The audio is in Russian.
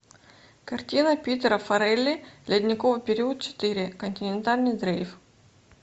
картина питера фаррелли ледниковый период четыре континентальный дрейф